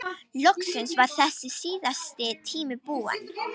Loksins var þessi síðasti tími búinn.